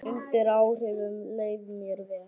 Undir áhrifum leið mér vel.